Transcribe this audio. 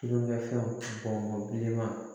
Tulonkɛfɛnw bɔnlenman